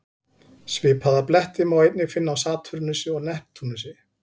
Svipaða bletti má einnig finna á Satúrnusi og Neptúnusi.